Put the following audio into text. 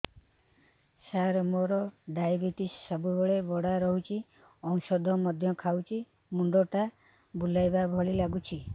ସାର ମୋର ଡାଏବେଟିସ ସବୁବେଳ ବଢ଼ା ରହୁଛି ଔଷଧ ମଧ୍ୟ ଖାଉଛି ମୁଣ୍ଡ ଟା ବୁଲାଇବା ଭଳି ଲାଗୁଛି